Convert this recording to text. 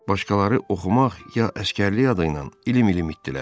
Başqaları oxumaq ya əsgərlik adıynan ilim-ilim itdirlər.